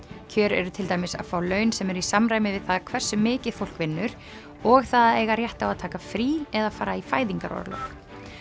kjör eru til dæmis að fá laun sem eru í samræmi við það hversu mikið fólk vinnur og það að eiga rétt á að taka frí eða fara í fæðingarorlof